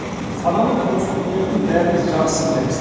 сананы тұрмыс билейтінін бәріміз жақсы білеміз